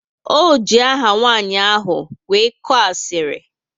O ji aha nwanyị ahụ wee koo asiri